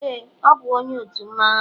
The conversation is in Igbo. ee, ọ bụ onye otu mmanwu anyi